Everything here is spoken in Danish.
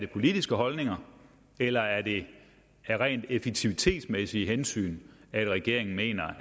politiske holdninger eller er det af rent effektivitetsmæssige hensyn at regeringen mener